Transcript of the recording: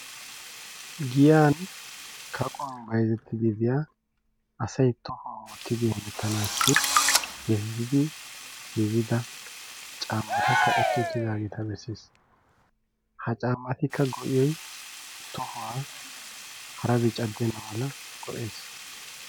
Giyan kaqquwan bayzzetiyaa asay tohuwaan wottanadi heemetenassi giigidi caammta kaqqeti uttidaageeta bessees. Ha caammatikka go'iyoy tohuwaa harabi caddena mala go'ees.